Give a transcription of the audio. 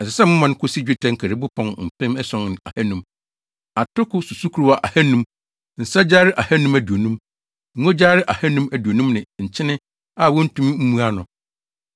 Ɛsɛ sɛ moma no kosi dwetɛ nkaribo pɔn mpem ason ne ahannum, atoko susukoraa ahannum, nsa gyare ahannum aduonum, ngo gyare ahannum aduonum ne nkyene a wontumi mmu ano.